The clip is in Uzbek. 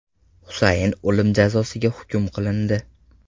Husayn o‘lim jazosiga hukm qilindi.